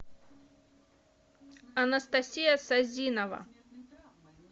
анастасия сазинова